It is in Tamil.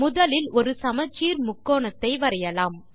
முதலில் ஒரு சமச்சீர் முக்கோணத்தை வரையலாம்